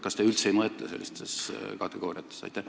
Kas te üldse ei mõtle sellistes kategooriates?